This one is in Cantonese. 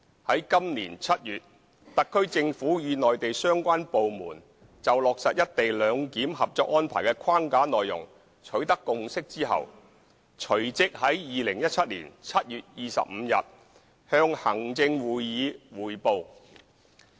在今年7月，特區政府與內地相關部門就落實"一地兩檢"《合作安排》的框架內容取得共識後，隨即在2017年7月25日向行政會議匯報。